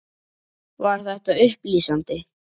Var þetta upplýsandi?